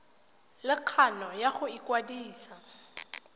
le kgano ya go ikwadisa